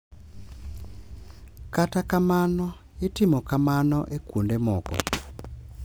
Kata kamano, itimo kamano e kuonde moko,